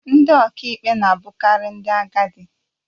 Ndị ọkàikpe na-abụkarị ndị agadi